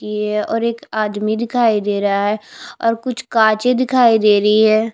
और ये एक आदमी दिखाई दे रहा है और कुछ काचे दिखाई दे रही है।